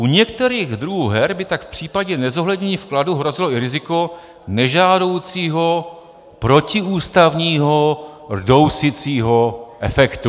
U některých druhů her by tak v případě nezohlednění vkladů hrozilo i riziko nežádoucího protiústavního rdousicího efektu.